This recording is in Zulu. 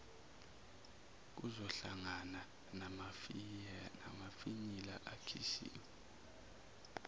kuzohlangana namafinyila akhishiwe